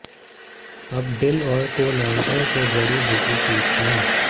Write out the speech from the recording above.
अब डिल और कोलांट्रो के जड़ी बूटी पीस लें